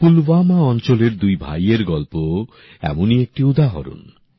পুলওয়ামা অঞ্চলের দুই ভাইয়ের গল্প এমনি একটি উদাহরণ